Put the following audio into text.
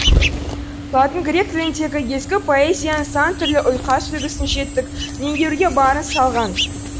латын грек тіліндегі ескі поэзияның сан түрлі ұйқас үлгісін жетік меңгеруге барын салған